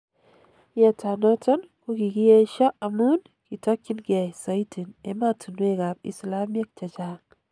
Yeetanoton kogigiyeso amuun kitogiinkei soitin emotunwek ab islamiek chechang.